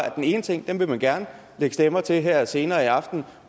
at den ene ting vil man gerne lægge stemmer til her senere i aften